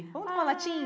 Ai Vamos tomar latim?